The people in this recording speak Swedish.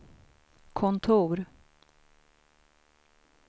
kontor